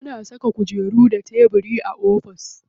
Ana saka kujeru da tebiri a ofis.